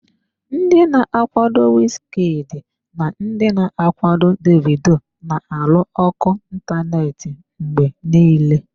Ndị na-akwado Wizkid na ndị na-akwado Davido na-alụ ọgụ ịntanetị mgbe niile.